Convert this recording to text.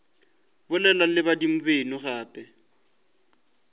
bolela le badimo beno gape